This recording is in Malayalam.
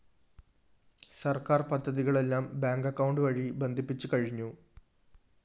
സർക്കാർ പദ്ധതികളെല്ലാം ബാങ്ക്‌ അക്കൌണ്ട്‌ വഴി ബന്ധിപ്പിച്ച് കഴിഞ്ഞു